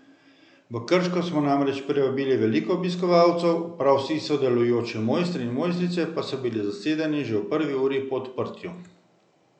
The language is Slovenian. V Krško smo namreč privabili veliko obiskovalcev, prav vsi sodelujoči mojstri in mojstrice pa so bili zasedeni že v prvi uri po odprtju.